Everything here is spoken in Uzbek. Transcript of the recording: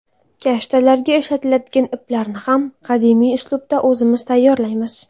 Kashtalarga ishlatiladigan iplarni ham qadimiy uslubda o‘zimiz tayyorlaymiz.